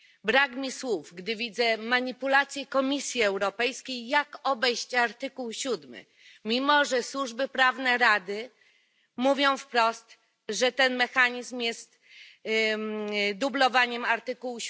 Brak mi słów, gdy widzę manipulacje Komisji Europejskiej, jak obejść artykuł 7, mimo że służby prawne Rady mówią wprost, że ten mechanizm jest dublowaniem artykułu